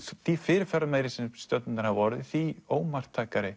því fyrirferðarmeiri sem stjörnurnar hafa orðið því